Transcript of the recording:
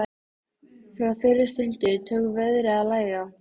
Frá þeirri stundu tók veðrið að lægja.